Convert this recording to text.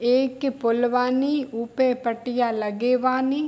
एक के पोल वानी उ पे पट्टिया लगे वानी।